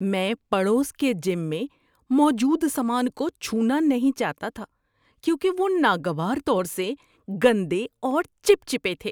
میں پڑوس کے جم میں موجود سامان کو چھونا نہیں چاہتا تھا کیونکہ وہ ناگوار طور سے گندے اور چپچپے تھے۔